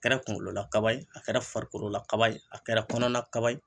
A kɛra kungololakaba ye a kɛra farikolo la kaba ye a kɛra kɔnɔna kaba ye